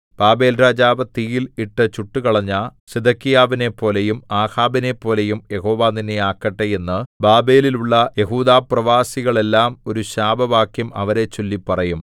ബാബേൽരാജാവ് തീയിൽ ഇട്ടു ചുട്ടുകളഞ്ഞ സിദെക്കീയാവിനെപ്പോലെയും ആഹാബിനെപ്പോലെയും യഹോവ നിന്നെ ആക്കട്ടെ എന്ന് ബാബേലിലുള്ള യെഹൂദാപ്രവാസികളെല്ലാം ഒരു ശാപവാക്യം അവരെച്ചൊല്ലി പറയും